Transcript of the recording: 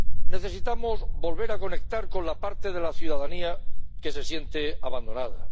Necesitamos volver a conectar con la parte de la ciudadanía que se siente abandonada.